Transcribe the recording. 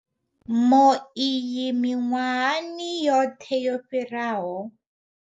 Mo iyi miṅwahani yoṱhe yo fhiraho.